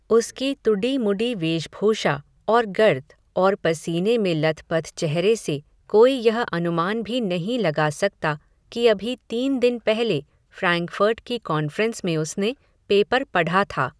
उसकी तुडी मुडी वेशभूषा, और गर्द, और पसीने में लथ पथ चेहरे से कोई यह अनुमान भी नहीं लगा सकता, कि अभी तीन दिन पहले, फ़्रेंकफ़र्ट की कांफ़्रेन्स में उसने पेपर पढा था